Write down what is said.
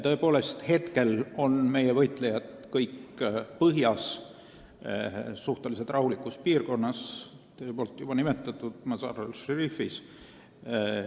Tõepoolest, praegu on kõik meie võitlejad põhjas, suhteliselt rahulikus piirkonnas, teie nimetatud Mazar-e Sharifis.